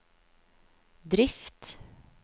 drift